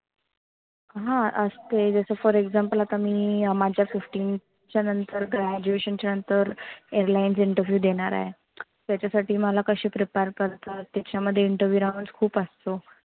हा, असते जस for example आता मी माझा fifteen च्या नंतर graduation च्या नंतर Airlines Interview देणार आहे. त्याच्या साठी मला कशी prepare करणार. त्याच्या मध्ये interview round खुप असतो.